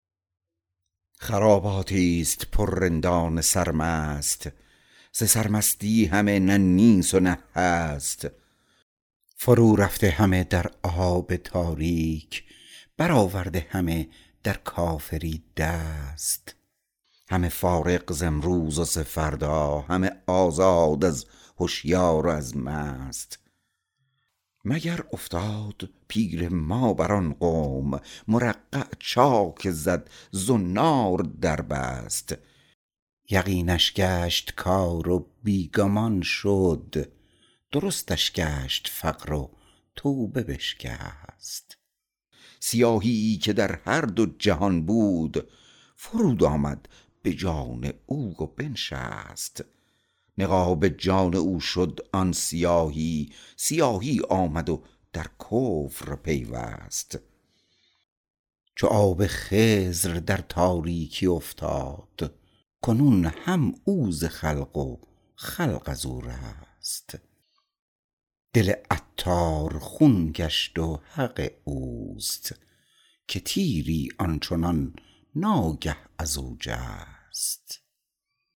خراباتی است پر رندان سرمست ز سر مستی همه نه نیست و نه هست فرو رفته همه در آب تاریک برآورده همه در کافری دست همه فارغ ز امروز و ز فردا همه آزاد از هشیار و از مست مگر افتاد پیر ما بر آن قوم مرقع چاک زد زنار در بست یقینش گشت کار و بی گمان شد درستش گشت فقر و توبه بشکست سیاهیی که در هر دو جهان بود فرود آمد به جان او و بنشست نقاب جان او شد آن سیاهی سیاهی آمد و در کفر پیوست چو آب خضر در تاریکی افتاد کنون هم او ز خلق و خلق ازو رست دل عطار خون گشت و حق اوست که تیری آنچنان ناگه ازو جست